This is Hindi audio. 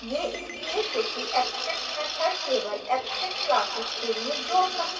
यह इसलिए क्योंकि abstract मैथड केवल abstract classes के लिए जोड़ सकते हैं